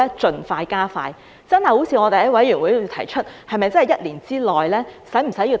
是否真的如委員會內所提出，要在一年之內才能做到？